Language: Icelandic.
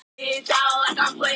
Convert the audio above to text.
en æska þér